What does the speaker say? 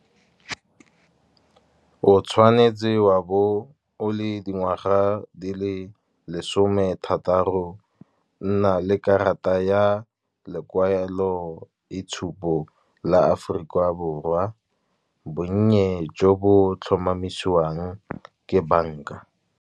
O tshwanetse wa bo o le dingwaga di le lesome thataro. Nna le karata ya lekwalo itshupo la Aforika Borwa, bonnye jo bo tlhomamisiwang ke bank-a.